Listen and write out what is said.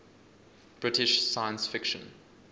british science fiction